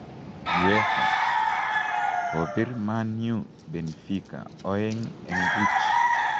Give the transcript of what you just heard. UEFA: Kobiir Man U Benfica oeng' en buuch.